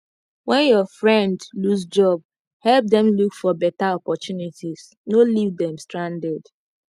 when your friend lose job help dem look for better opportunities no leave dem stranded